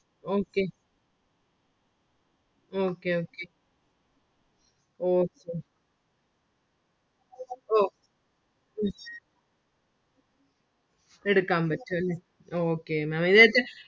okay okay okay okay okay ഉം എടുക്കാൻ പറ്റും അല്ലെ okay Maám ഇതിനകത്തു